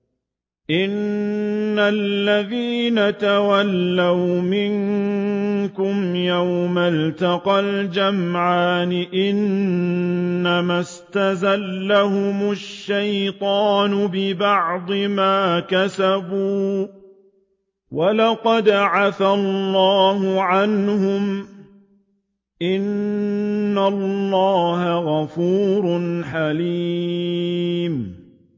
إِنَّ الَّذِينَ تَوَلَّوْا مِنكُمْ يَوْمَ الْتَقَى الْجَمْعَانِ إِنَّمَا اسْتَزَلَّهُمُ الشَّيْطَانُ بِبَعْضِ مَا كَسَبُوا ۖ وَلَقَدْ عَفَا اللَّهُ عَنْهُمْ ۗ إِنَّ اللَّهَ غَفُورٌ حَلِيمٌ